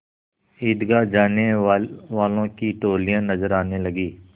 ईदगाह जाने वालों की टोलियाँ नजर आने लगीं